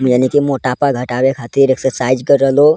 इस दृश्य में जैसे कि हम देख पा रहे है कि काफी सारी रेत हैं मिट्टी है।